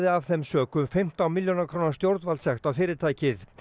af þeim sökum fimmtán milljóna króna stjórnvaldssekt á fyrirtækið